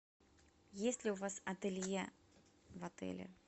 есть ли у вас ателье в отеле